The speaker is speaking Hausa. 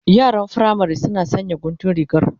Yaran firamari suna sanya guntun rigar